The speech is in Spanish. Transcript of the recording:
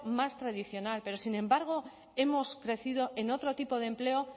más tradicional pero sin embargo hemos crecido en otro tipo de empleo